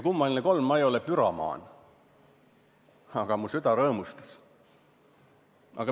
Kummaline küll, ma ei ole püromaan, aga mu süda rõõmustas.